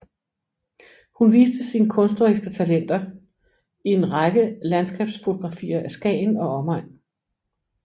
Hun viste sin kunstneriske talenter i en række landskabsfotografier af Skagen og omegn